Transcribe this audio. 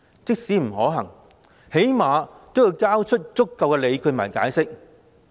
即使不可行，最少也要交出足夠理據和解釋。